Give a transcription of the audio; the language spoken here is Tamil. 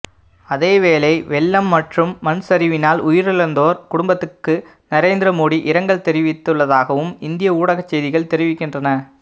அதேவேளை வௌ்ளம் மற்றும் மண் சரிவினால் உயிரிழந்தோர் குடும்பத்துக்கு நரேந்திர மோடி இரங்கல் தெரிவித்துள்ளதாகவும் இந்திய ஊடகச் செய்திகள் தெரிவிக்கின்றன